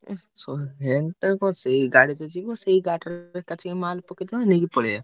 ହୁଁ ସେ ଏଣେ ତେଣେ କଣ ସେଇ ଗାଡି ତ ଯିବ ସେଇ ଗାଡିରେ ଏକାଥରେ ମାଲ ପକେଇଦବା ନେଇକି ପଳେଇଆ।